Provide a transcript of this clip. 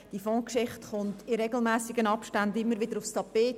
Diese Fondsgeschichte kommt in regelmässigen Abständen immer wieder aufs Tapet.